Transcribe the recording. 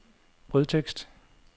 brødtekst